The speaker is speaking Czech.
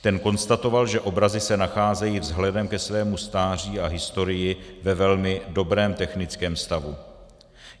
Ten konstatoval, že obrazy se nacházejí vzhledem ke svému stáří a historii ve velmi dobrém technickém stavu.